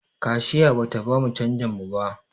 Kashiya bata bamu canjin mu ba